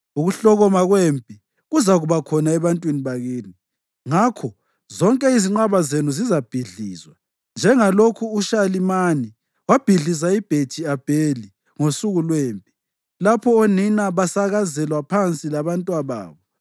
ukuhlokoma kwempi kuzakuba khona ebantwini bakini, ngakho zonke izinqaba zenu zizabhidlizwa njengalokhu uShalimani wabhidliza iBhethi-Abheli ngosuku lwempi, lapho onina basakazelwa phansi labantwababo.